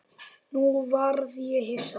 Nú varð ég hissa.